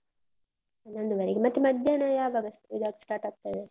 ಹನ್ನೊಂದುವರೆಗೆ. ಮತ್ತೆ ಮಧ್ಯಾನ ಯಾವಾಗ ಇದಾ start ಆಗ್ತದೆ?